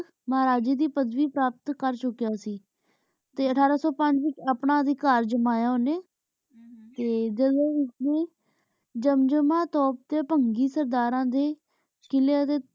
ਮਹਾਰਾਜੇ ਦੀ ਪੜ੍ਹ ਵੀ ਪਰਾਪਤ ਕਰ ਚੁਕ੍ਯ ਸੀ ਤੇ ਅਠਾਰਾਂ ਸੂ ਪੰਜ ਵਿਚ ਆਪਣਾ ਅਧਿਕਾਰ ਜਮਾਯਾ ਓਨੇ ਤੇ ਜਾਮ੍ਜਾਮਾ ਤੋਪ ਤੇ ਭੰਗੀ ਸਰਦਾਰਾਂ ਦੇ ਕ਼ਿਲ੍ਯਾਂ ਦੇ